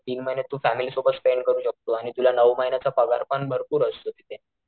तीन महिने तू फॅमिली सोबत स्पेंड करू शकतो आणि तुला नऊ महिन्याचा पगार पण भरपूर असतो तिथे.